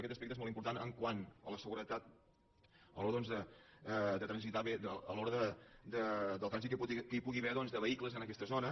aquest aspecte és molt important quant a la seguretat a l’hora doncs de transitar bé a l’hora del trànsit que hi pugui haver de vehicles en aquesta zona